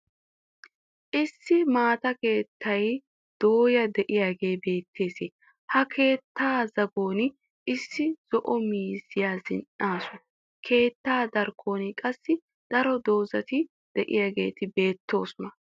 Issi maata keettay dooya diyagee beettes. Ha keettaa zagon Issi zo'o miizziya zin"asu. Keettaa darkkuwan qassi daro doozati diyageeti beettoosona.